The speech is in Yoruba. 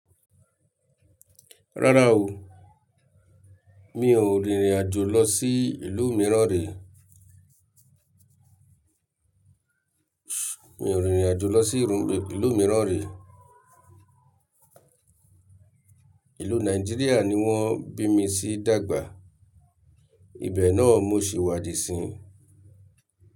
Rárá o, mi ò rìnrìn àjò lọ sí ìlú mìíràn rí. Mi ò rìnrìn àjò lọ sí ìlú mìíràn rí. Ìlú Nàìjíríà ni wọ́n bí mi sí dàgbà. Ibẹ̀ náà mo ṣe wádìí sin.